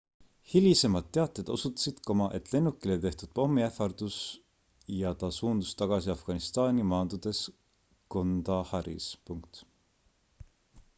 hilisemad teated osutasid et lennukile tehti pommiähvardus ja ta suundus tagasi afganistani maandudes kandaharis